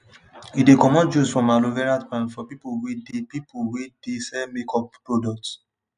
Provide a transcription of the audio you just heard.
he de comot juice from aloe vera plant for people wey dey people wey dey sell make up products